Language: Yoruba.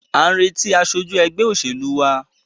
À ń retí aṣojú ẹgbẹ́ òṣèlú wa.